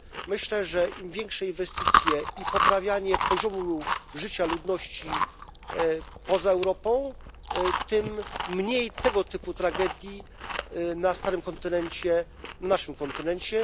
Myślę, że im większe inwestycje i poprawianie poziomu życia ludności poza Europą, tym mniej tego typu tragedii na starym kontynencie, naszym kontynencie.